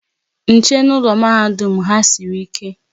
Nche n'ụlọ mahadum ha sịrị ike